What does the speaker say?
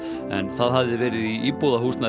en það hefði verið í íbúðarhúsi